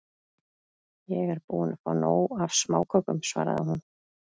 Ég er búin að fá nóg af smákökum, svaraði hún.